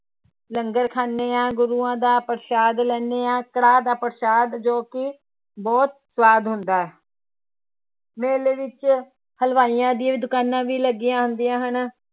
ਲੰਗਰ ਖਾਂਦੇ ਹਾਂ ਗੁਰੂਆਂ ਦਾ ਪ੍ਰਸ਼ਾਦ ਲੈਂਦੇ ਹਾਂ, ਕੜਾਹ ਦਾ ਪ੍ਰਸ਼ਾਦ ਜੋ ਕਿ ਬਹੁਤ ਸਵਾਦ ਹੁੰਦਾ ਹੈ ਮੇਲੇ ਵਿੱਚ ਹਲਵਾਈਆਂ ਦੀਆਂ ਦੁਕਾਨਾਂ ਵੀ ਲੱਗੀਆਂ ਹੁੰਦੀਆਂ ਹਨ,